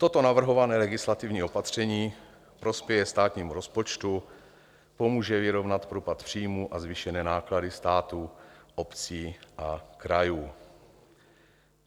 Toto navrhované legislativní opatření prospěje státnímu rozpočtu, pomůže vyrovnat propad příjmů a zvýšené náklady státu, obcí a krajů.